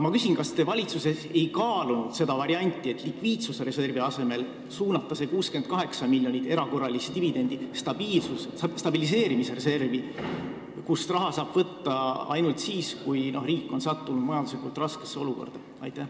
Kas te valitsuses ei kaalunud seda varianti, et suunata need 68 miljonit eurot erakorralist dividendi likviidsusreservi asemel stabiliseerimisreservi, kust raha saab võtta ainult siis, kui riik on sattunud majanduslikult raskesse olukorda?